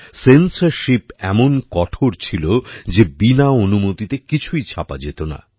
censorship এমন কঠোর ছিল যে বিনা অনুমতিতে কিছুই ছাপা যেত না